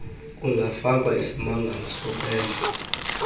kungafakwa isimangalo sokwenza